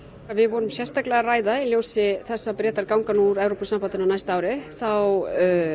við vorum sérstaklega að ræða í ljósi þess að Bretar ganga út úr Evrópusambandinu á næsta ári þá